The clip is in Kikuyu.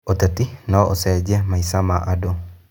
ũteti no ũcenjie maica ma andũ.